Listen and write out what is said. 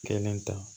Kelen ta